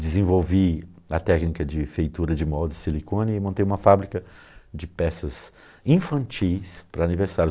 Desenvolvi a técnica de feitura de molde de silicone e montei uma fábrica de peças infantis para aniversário.